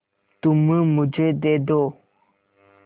तुम मुझे दे दो